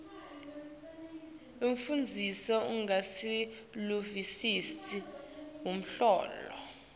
umfundzi usengakaluvisisi luhlobo